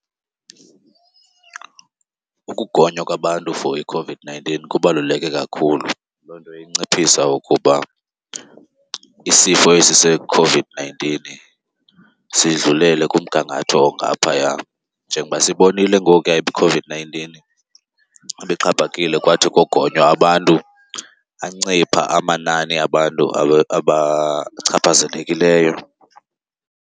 Ukugonywa kwabantu for iCOVID-nineteen kubaluleke kakhulu. Loo nto inciphisa ukuba isifo esi seCOVID-nineteen sidlulele kumgangatho ongaphaya. Njengoba sibonile ngokuya iCOVID-nineteen ibixhaphakile kwathi kogonywa abantu ancipha amanani abantu abachaphazelekileyo.